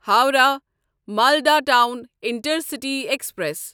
Howrah Malda town intercity express